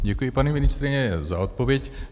Děkuji, paní ministryně, za odpověď.